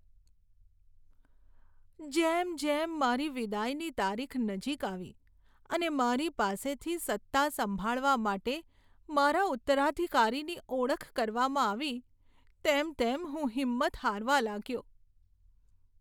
જેમ જેમ મારી વિદાયની તારીખ નજીક આવી અને મારી પાસેથી સત્તા સંભાળવા માટે મારા ઉત્તરાધિકારીની ઓળખ કરવામાં આવી, તેમ તેમ હું હિંમત હારવા લાગ્યો.